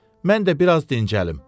Mən də biraz dincəlim.